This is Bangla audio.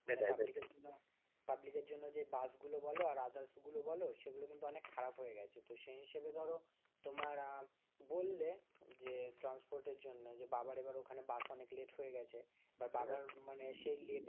পাবলিকের জন্য যে বাসগুলো বলো আর others গুলো বলো সেগুলো কিন্তু অনেক খারাপ হয়ে গেছে তো সেই হিসাবে ধরো তোমার আহ বললে যে transport এর জন্য যে বাবার এবার ওখানে বাস অনেক late হয়ে গেছে, বাবার মানে সেই late.